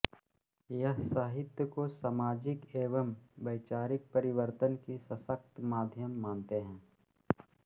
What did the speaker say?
यह साहित्य को सामाजिक एवं वैचारिक परिवर्तन की सशक्त माध्यम मानते हैं